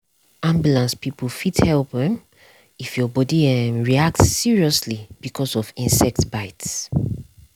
ambulance people fit help um if your body dey um react seriously because of insect bite.